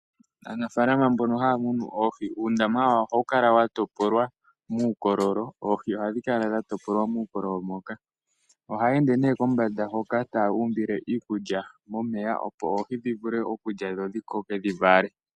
Aanafaalama mbono haya munu oohi, uundama wawo ohawu kala wa topolwa muukololo. Oohi ohadhi kala dha topolwa muukololo moka. Ohaya ende nee kombanda hoka taya umbile iikulya momeya opo oohi dhi vule okulya dho dhi koke dhi vale.